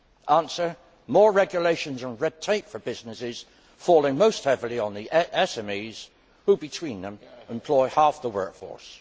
Answer more regulations and red tape for businesses, falling most heavily on the SMEs who, between them, employ half the workforce.